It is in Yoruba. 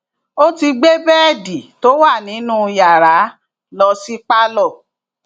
ó ti gbé bẹẹdì tó wà nínú yàrá lọ sí pálọ